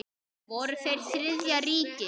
Voru þeir Þriðja ríkið?